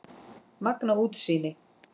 Magnað útsýni!